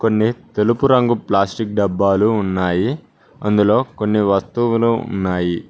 కొన్ని తెలుపు రంగు ప్లాస్టిక్ డబ్బాలు ఉన్నాయి అందులో కొన్ని వస్తువులు ఉన్నాయి.